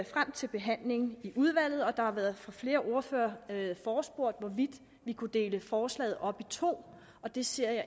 frem til behandlingen i udvalget der har været flere ordførere der har forespurgt hvorvidt vi kunne dele forslaget op i to det ser jeg